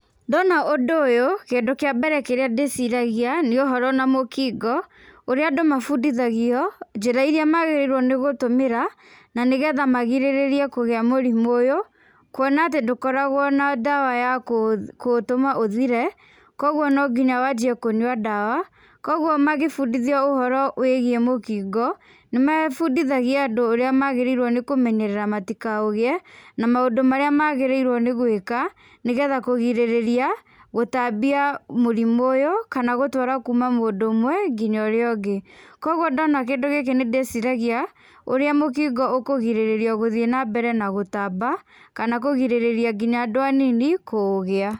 Ndona ũndũ ũyũ, kĩndũ kĩa mbere kĩrĩa ndĩciragia nĩ ũhoro na mũkingo ũrĩa andũ mabundithagio, njĩra irĩa magĩrĩirwo nĩ gũtũmĩra na nĩ getha magirĩrĩrie kũgĩa mũrimũ ũyũ, kuona atĩ ndũkaragwo na ndawa ya kũũtũma ũthire, kũguo no nginya wanjie kũnyua ndawa, kũguo magĩbundithio ũhoro wĩgiĩ mũkingo, nĩ mabundithagia andũ ũrĩa magĩrĩirwo nĩ kũmenyerera matikaũgiĩ, na maũndũ marĩa magĩrĩirwo nĩ gwĩka, nĩ getha kũgirĩrĩria gũtambia mũrimũ ũyũ kana gũtwara kuuma mũndũ ũmwe nginya ũrĩa ũngĩ. Kũguo ndona kĩndũ gĩkĩ nĩ ndĩciragia, ũrĩa mũkingo ũkũgirĩrĩrio na gũthiĩ na mbere na gũtamba, kana kũgirĩrĩria nginya andũ anini kũũgĩa.